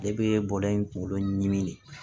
Ne bɛ bɔɛ in kunkolo ɲimi de